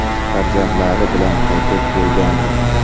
Farzandlari bilan qaytib kelgandi.